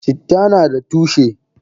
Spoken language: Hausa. Citta nada tushe.